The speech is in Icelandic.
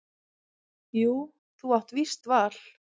Jú þú átt víst val.